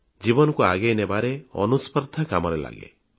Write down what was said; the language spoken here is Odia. ଜୀବନକୁ ଆଗେଇ ନେବାରେ ଆତ୍ମପ୍ରତିଯୋଗୀତା ଅନୁସ୍ପର୍ଦ୍ଧା କାମରେ ଲାଗେ